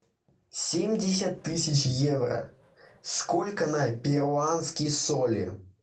семьдесят тысяч евро сколько на перуанские соли